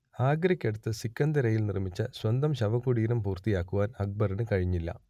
ആഗ്രക്കടുത്ത് സിക്കന്ദരയിൽ നിർമിച്ച സ്വന്തം ശവകുടീരം പൂർത്തിയാക്കുവാൻ അക്ബറിനു കഴിഞ്ഞില്ല